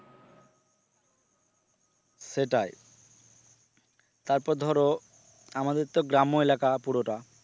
সেটাই তারপর ধরো আমাদের তো গ্রাম্য এলাকা পুরোটা।